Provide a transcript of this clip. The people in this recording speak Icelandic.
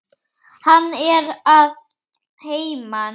Hann er að heiman.